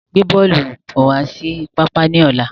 Gbe bọ́ọ́lù bọ̀ wá sí pápá ni ọ̀la!